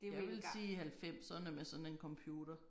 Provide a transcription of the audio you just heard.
Jeg ville sige halvfemserne med sådan en computer